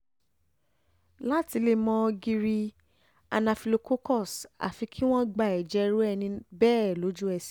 láti lè mọ̀ ti gírí anaphylococcus àfi kí wọ́n gba ẹ̀jẹ̀ irú ẹni bẹ́ẹ̀ lójú-ẹsẹ̀